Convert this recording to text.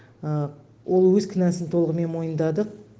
ол өз кінәсін толығымен мойындады